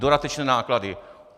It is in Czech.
Dodatečné náklady...